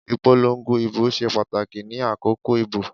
Ìpolongo ìbò ṣe pàtàkì ni àkókò ìbò